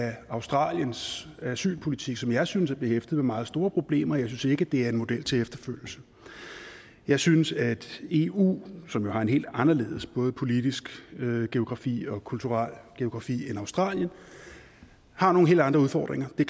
af australiens asylpolitik som jeg synes er behæftet med meget store problemer jeg synes ikke det er en model til efterfølgelse jeg synes at eu som jo har en helt anderledes både politisk geografi og kulturel geografi end australien har nogle helt andre udfordringer vi